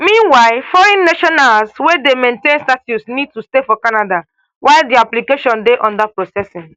meanwhile foreign nationals wey dey maintained status need to stay for canada while dia application dey under processing